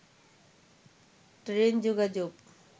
train যোগাযোগ